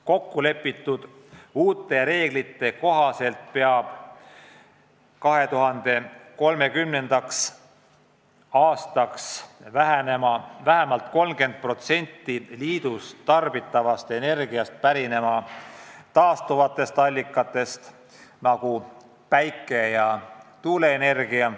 Kokku lepitud uute reeglite kohaselt peab 2030. aastaks vähemalt 32% liidus tarbitavast energiast pärinema taastuvatest allikatest ehk siis olema päikese- või tuuleenergia.